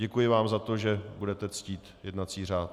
Děkuji vám za to, že budete ctít jednací řád.